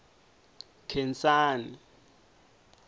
khensani